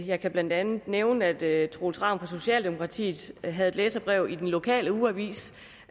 jeg kan blandt andet nævne at herre troels ravn fra socialdemokratiet havde et læserbrev i den lokale ugeavis